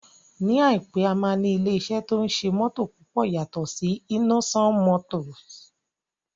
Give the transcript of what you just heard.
Ní àìpé, a máa ní ilé iṣẹ́ tí ó ń ṣe mótò púpọ̀ yàtọ̀ sí Innoson motors